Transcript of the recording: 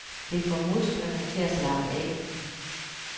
Det får musklerne til at slappe af.